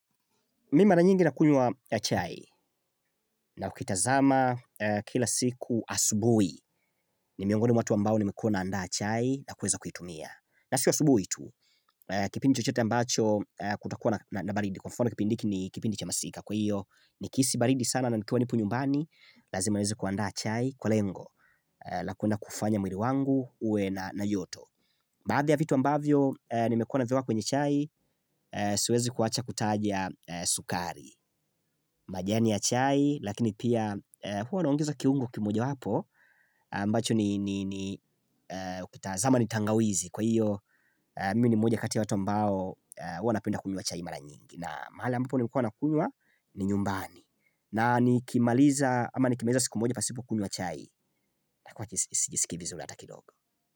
Mi mara nyingi nakunywa chai na kukitazama kila siku asubui ni miongoni mwa watu ambao nimekuwa nandaa chai na kuweza kuitumia. Na sio asubui tu, kipindi chochete ambacho kutakuwa na baridi. Kwa mfano kipind hiki ni kipindi cha masika kwa hiyo nikihisi baridi sana na nikiwa nipo nyumbani. Lazima niweze kuandaa chai kwa lengo. Na kuenda kufanya mwili wangu uwe na joto. Baadhi ya vitu ambavyo nimekuwa navieka kwenye chai, siwezi kuwacha kutaja sukari. Majani ya chai, lakini pia huwa naongeza kiungo kimoja wapo ambacho ni zama ni tangawizi Kwa hiyo, mimi ni moja kati ya watu ambao huwa napenda kunywa chai mara nyingi na mahala ambapo nilikua nakunywa ni nyumbani na nikimaliza, ama nikimaliza siku moja pasipo kunywa chai na kuwa sijisikii vizuri hata kidogo.